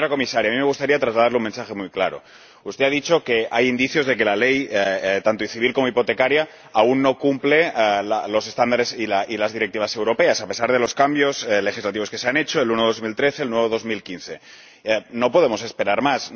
Pero, señora Comisaria, a mí me gustaría trasladarle un mensaje muy claro. Usted ha dicho que hay indicios de que la ley, tanto civil como hipotecaria, aún no cumple los estándares y las directivas europeas a pesar de los cambios legislativos que se han hecho en 2013 y en 2015. No podemos esperar más.